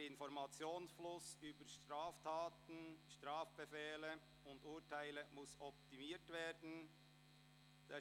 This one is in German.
Der Informationsfluss über Straftaten, Strafbefehle und Urteile muss optimiert werden».